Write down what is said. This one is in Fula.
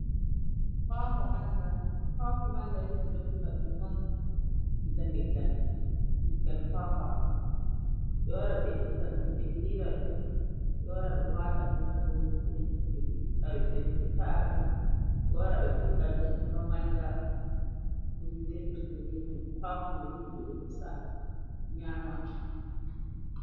Hako manja nibi ɗo heɓa ɗum ɗon diga leggal kwa kwaɓe wara ɓe itta dum ɓe lira ɗum wata ɗum ha dow hibe ta’a ɗum ɓe wara ɓe ɓidda ɗum heɓa manja ikwakwa mai on ɓe ɗon pusa nyama.